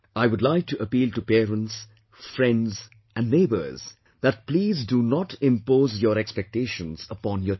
I would like to appeal to parents, friends and neighbours that please don't impose your expectations upon your children